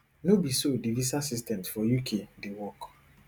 no be so di visa systems for uk dey work